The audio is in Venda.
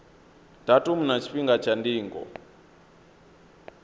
datumu na tshifhinga tsha ndingo